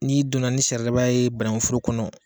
Ni donna ni saridaba ye bannkun foro kɔnɔ.